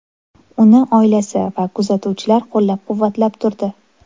Uni oilasi va kuzatuvchilar qo‘llab-quvvatlab turdi.